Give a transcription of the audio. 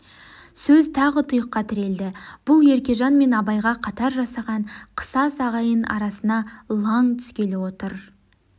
сөз тағы тұйыққа тірелді бұл еркежан мен абайға қатар жасаған қысас ағайын арасына лаң түскелі отыр